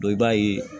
i b'a ye